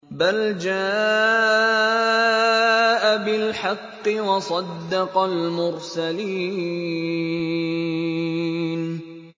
بَلْ جَاءَ بِالْحَقِّ وَصَدَّقَ الْمُرْسَلِينَ